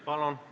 Palun!